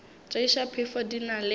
tšeiša phefo di na le